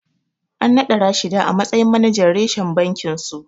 An naɗa Rashida a matsayin manajan reshen bakinsu.